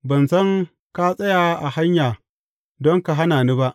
Ban san ka tsaya a hanya don ka hana ni ba.